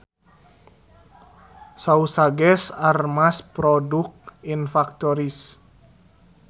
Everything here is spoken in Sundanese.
Sausages are mass produced in factories